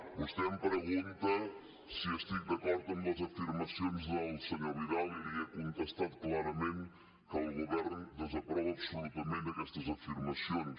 vostè em pregunta si estic d’acord amb les afirmacions del senyor vidal i li he contestat clarament que el govern desaprova absolutament aquestes afirmacions